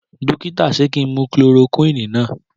Dókítà ṣe ki mu chloroquini náà?